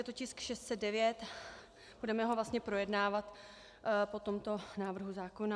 Je to tisk 609, budeme ho vlastně projednávat po tomto návrhu zákona.